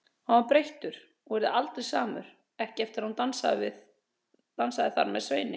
Hann var breyttur og yrði aldrei samur, ekki eftir að hún dansaði þar með Sveini.